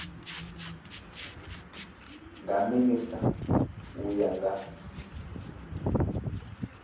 nga minisita u ya nga